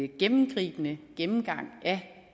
gennemgribende gennemgang af